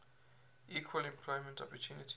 equal employment opportunity